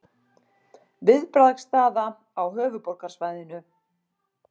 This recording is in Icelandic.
Viðbragðsstaða á höfuðborgarsvæðinu